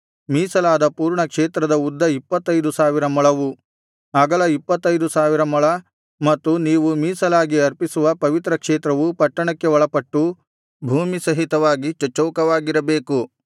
ಮೀಸಲಾದ ಪೂರ್ಣ ಕ್ಷೇತ್ರದ ಉದ್ದ ಇಪ್ಪತ್ತೈದು ಸಾವಿರ ಮೊಳವು ಅಗಲ ಇಪ್ಪತ್ತೈದು ಸಾವಿರ ಮೊಳ ಮತ್ತು ನೀವು ಮೀಸಲಾಗಿ ಅರ್ಪಿಸುವ ಪವಿತ್ರ ಕ್ಷೇತ್ರವು ಪಟ್ಟಣಕ್ಕೆ ಒಳಪಟ್ಟು ಭೂಮಿ ಸಹಿತವಾಗಿ ಚಚ್ಚೌಕವಾಗಿರಬೇಕು